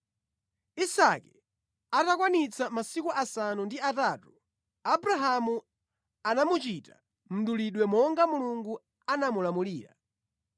Isake atakwanitsa masiku asanu ndi atatu, Abrahamu anamuchita mdulidwe monga Mulungu anamulamulira.